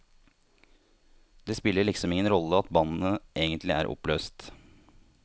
Det spiller liksom ingen rolle at bandet egentlig er oppløst.